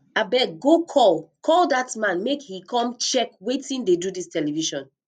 abeg go call call dat man make he come check wetin dey do dis television